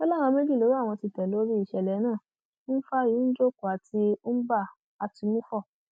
ó ní àwọn méjì lowó àwọn ti tẹ lórí ìṣẹlẹ náà ifeanyi njoku àti mbam àtúnmúfọ